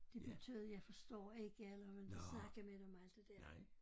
Det betød jeg forstår ikke eller man inte snakke med dem og alt det dér